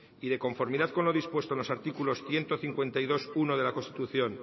y de conformidad con lo dispuesto en los artículos ciento cincuenta y dos punto uno de la constitución